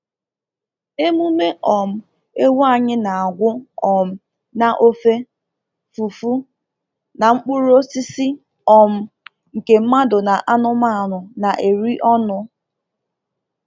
Emume um ewu anyị na-agwụ um na ofe, fufu, na mkpụrụ osisi um nke mmadụ na anụmanụ na-eri ọnụ.